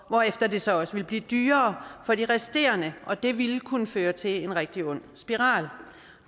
hvorefter det så også ville blive dyrere for de resterende og det ville kunne føre til en rigtig ond spiral